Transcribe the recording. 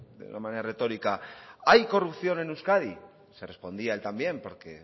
de una manera retórica hay corrupción en euskadi se respondía él también porque